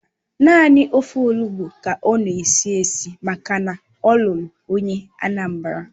Naanị ofe Olugbu ka ọ na-esi esi maka na ọ lụrụ onye Anambra